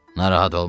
Narahat olma.